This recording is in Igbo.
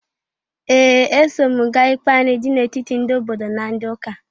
Ee! Eso m gaa ikpe anị dị n'etiti ndị obodo na ndị ụka.